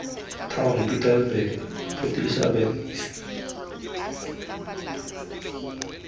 town pietersburg port elizabeth east